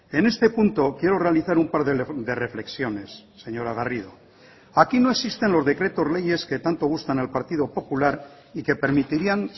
en este punto quiero realizar un par de reflexiones señora garrido aquí no existen los decretos leyes que tanto gustan al partido popular y que permitirían